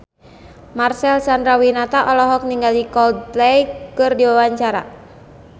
Marcel Chandrawinata olohok ningali Coldplay keur diwawancara